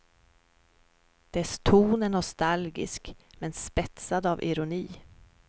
Dess ton är nostalgisk, men spetsad av ironi.